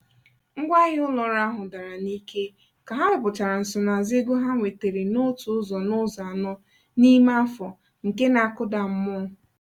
ngwaahịa ụlọ ọrụ ahụ dara n'ike ka ha wepụtachara nsonaazụ ego ha nwetara n'otu ụzọ n'ụzọ anọ n'ime afọ nke na-akụda mmụọ.